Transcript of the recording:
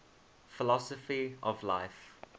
philosophy of life